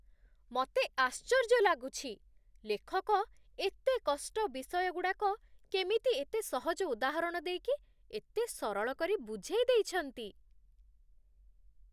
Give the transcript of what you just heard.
ମତେ ଆଶ୍ଚର୍ଯ୍ୟ ଲାଗୁଛି, ଲେଖକ ଏତେ କଷ୍ଟ ବିଷୟଗୁଡ଼ାକ କେମିତି ଏତେ ସହଜ ଉଦାହରଣ ଦେଇକି, ଏତେ ସରଳ କରି ବୁଝେଇଦେଇଛନ୍ତି ।